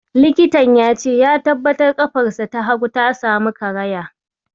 Likitan ya ce ya tabbatar ƙafarsa ta hagu ta samu karaya.